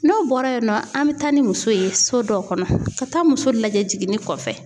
N'o bɔra yen nɔ an bɛ taa ni muso ye so dɔ kɔnɔ ka taa muso lajɛ jiginni kɔfɛ.